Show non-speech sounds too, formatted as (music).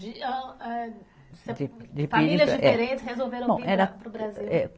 (unintelligible) Eh, eh, Famílias diferentes resolveram vir para o Brasil? É